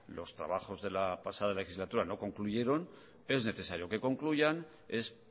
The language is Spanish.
los trabajos de la pasada legislatura no concluyeron es necesario que concluyan es